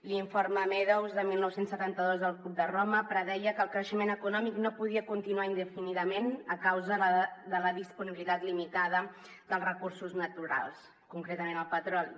l’informe meadows de dinou setanta dos del club de roma predeia que el creixement econòmic no podia continuar indefinidament a causa de la disponibilitat limitada dels recursos naturals concretament el petroli